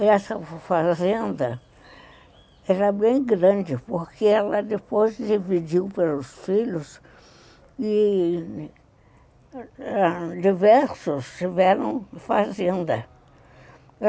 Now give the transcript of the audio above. Essa fazenda era bem grande, porque ela depois dividiu pelos filhos e diversos tiveram fazenda.